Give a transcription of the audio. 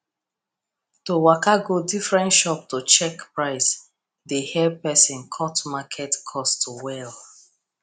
to waka go different shop to check price dey help person cut market cost well